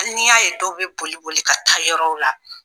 Hali n'i y'a ye dɔw bɛ boli-boli ka taa yɔrɔw la